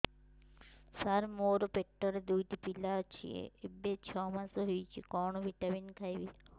ସାର ମୋର ପେଟରେ ଦୁଇଟି ପିଲା ଅଛନ୍ତି ଏବେ ଛଅ ମାସ ହେଇଛି କଣ ଭିଟାମିନ ଖାଇବି